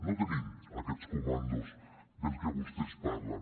no tenim aquests comandos dels que vostès parlen